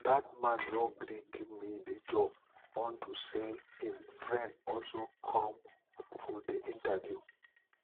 dat man no agree give me the job unto say im friend also come for the interview